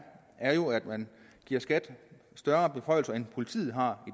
er jo at man giver skat større beføjelser end politiet har